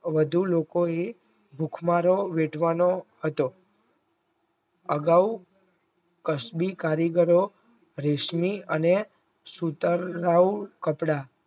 વધુ લોકોએ ભૂખમરો વેઠવાનો હતો આગવ કસબી કારીગરો રેશમી અને સુતરાવ